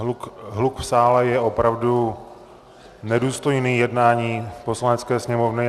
Hluk v sále je opravdu nedůstojný jednání Poslanecké sněmovny.